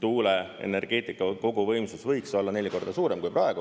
tuuleenergeetika koguvõimsus võiks olla neli korda suurem kui praegu.